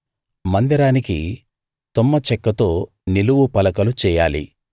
మందిరానికి తుమ్మ చెక్కతో నిలువు పలకలు చెయ్యాలి